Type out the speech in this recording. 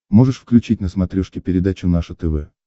можешь включить на смотрешке передачу наше тв